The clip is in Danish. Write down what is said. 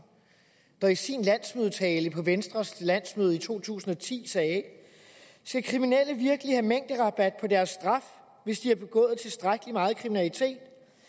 der i sin tale på venstres landsmøde i to tusind og ti sagde skal kriminelle virkelig have mængderabat på deres straf hvis de har begået tilstrækkelig meget kriminalitet